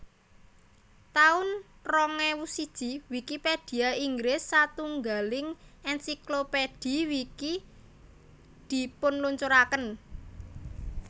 taun rong ewu siji Wikipedia Inggris satunggiling ensiklopedhi Wiki dipunluncuraken